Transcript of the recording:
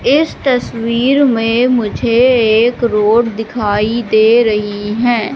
इस तस्वीर में मुझे एक रोड दिखाई दे रही है।